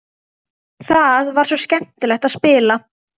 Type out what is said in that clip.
Það er svo skemmtilegt að spila.